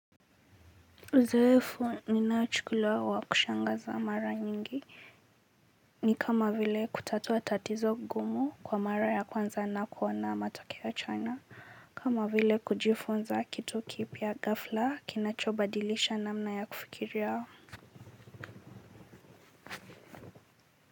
Uzoefu ninaochukulia wa kushangaza mara nyingi ni kama vile kutatua tatizo gumu kwa mara ya kwanza na kuona matokeo ya chana. Kama vile kujifunza kitu kipya ghafla kinachobadilisha namna ya kufikiria.